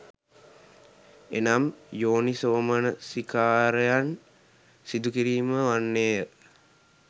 එනම් යෝනිසෝමනසිකාරයෙන් සිදුකිරීම වන්නේ ය.